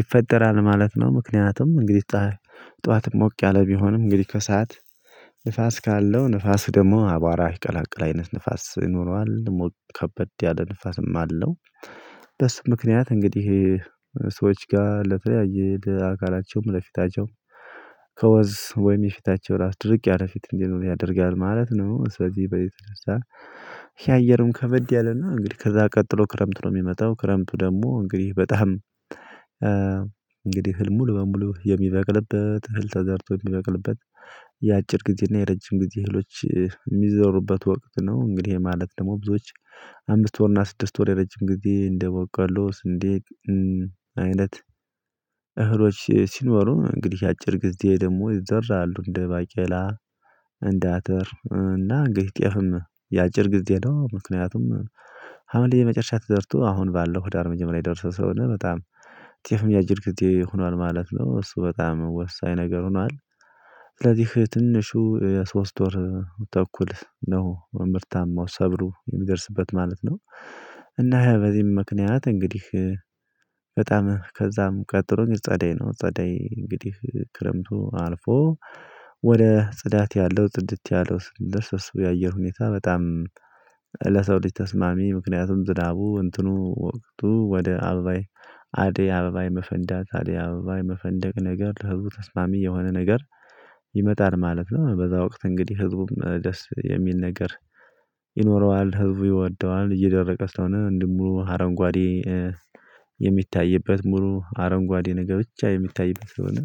ይፈጠራል ማለት ነው። ምክንያቱም እንግዲህ ጠዋት ሞቅ ያለ ቢሆንም እንግዲህ ከሰአት ንፋስ ካለው ንፋስ ደግሞ አቧራ ይቀላቅላል አይነት ንፋስ ይኖረዋል ሞት ከበድ ያለ ንፋስም አለው። ደስ ምክንያት እንግዲህ ሰዎች ጋር ለተለያየ ለአካላቸውም ለፊታቸው ከወዝ ወይም የፊታቸው ራስ ድርቅ ያለ ፊት እንዲኖር ያደርጋል ማለት ነው። ስለዚህ በየት እንደዛ የአየሩን ከበድ ያለና እንግዲህ ከዛ ቀጥሎ ክረምት ነው። የሚመጣው ክረምቱ ደግሞ እንግዲህ በጣም እንግዲህ ህልም ሙሉ በሙሉ የሚበቅልበት እህል ተዘርቶ የሚበቅልበት ጊዜ እና የረጅም ጊዜ እህሎች የሚዘሩበት ወቅት ነው። እንግዲህ ማለት ደግሞ ብዙዎች አምስት ወር እና ስድስት ወር የረጅም ጊዜ እንደ ቦቆሎ ስንዴቅ አይነት እህሎች ሲኖሩ እንግዲህ የአጭር ጊዜ ደግሞ ይዘራሉ እንደ ባቄላ እንደ አተር እና እንግዲህ ጤፍም የአጭር ጊዜ ነው ምክንያቱም ሀምል የመጨረሻ ተዘርቶ አሁን ባለው ህዳር መጀመሪያ የደረሰው ሰው ነው በጣም ጤፍም የአየር ሆኗል ማለት ነው። እሱ በጣም ወሳኝ ነገር ሆኗል። ስለዚህ ትንሹ የሶስት ወር ተኩል ነው የምርታማው ሰብሉ የሚደርስበት ማለት ነው። እና በዚህም ምክንያት እንግዲህ በጣም ከዛም ቀጥሎኝ ጸዳይ ነው ጸዳይ እንግዲህ ክረምቱ አልፎ ወደ ጽዳት ያለው ጽድት ያለው የሱ የአየር ሁኔታ በጣም ለሰው ልጅ ተስማሚ ምክንያቱም ዝናቡ እንትኑ ወቅቱ ወደ አበባይ አደይ አበባይ መፈንደቅ አደይ አበባይ መፈንደቅ ነገር ተብሎ ተስማሚ የሆነ ነገር ይመጣል ማለት ነው። በእዛ ወቅት እንግዲህ ህዝቡም ደስ የሚል ነገር ይኖረዋል። ህዝቡ ይወደዋል እየደረቀ ስለሆነ እንዲሁም ደግሞ አረንጓዴ የሚታይበት ሙሉ አረንጓዴ ነገር ብቻ የሚታይበት ስለሆነ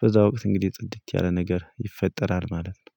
በእዛ ወቅት እንግዲህ ጽድት ያለ ነገር ይፈጠራል ማለት ነው